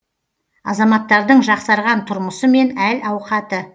азаматтардың жақсарған тұрмысы мен әл ауқаты